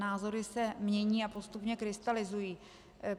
Názory se mění a postupně krystalizují.